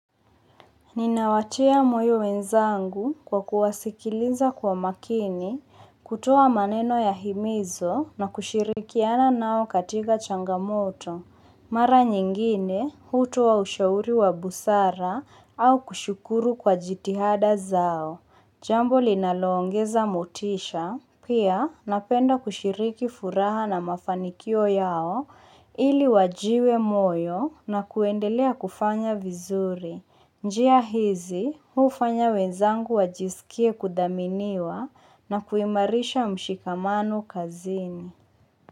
Ninawatia moyo wenzangu kwa kuwasikiliza kwa makini, kutoa maneno ya himizo na kushirikiana nao katika changamoto. Mara nyingine, hutoa ushauri wa busara au kushukuru kwa jitihada zao. Jambo linalo ongeza motisha, pia napenda kushiriki furaha na mafanikio yao ili wajiwe moyo na kuendelea kufanya vizuri. Njia hizi hufanya wenzangu wajisikie kudhaminiwa na kuimarisha mshikamano kazini.